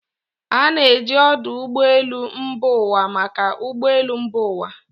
A na-eji ọdụ ụgbọ elu mba ụwa maka ụgbọ elu mba ụwa.